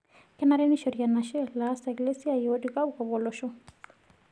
Kenare neishori enashe laasak lesia otii kopkop olosho.